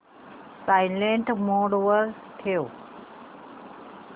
silent mode वर ठेव